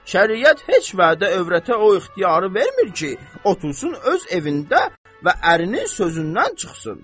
Şəriət heç vədə övrətə o ixtiyarı vermir ki, otursun öz evində və ərinin sözündən çıxsın.